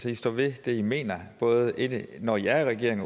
i står ved det i mener både når i er i regering